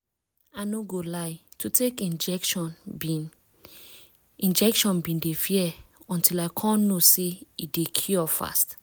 i no go lie to take injection been injection been dey fear until i come know say e dey cure fast